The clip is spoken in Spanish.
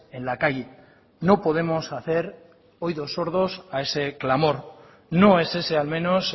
en la calle no podemos hacer oídos sordos a ese clamor no es ese al menos